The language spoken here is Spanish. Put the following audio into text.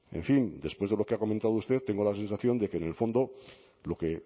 en fin después de lo que ha comentado usted tengo la sensación de que en el fondo lo que